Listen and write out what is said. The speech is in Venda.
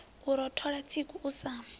u rothola tsiku u sa